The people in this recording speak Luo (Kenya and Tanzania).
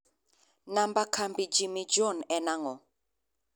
namba kambi Jimmy John an ang'o